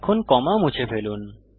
এখন কমা মুছে ফেলুন